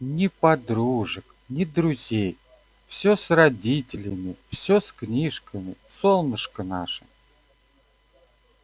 ни подружек ни друзей всё с родителями всё с книжками солнышко наше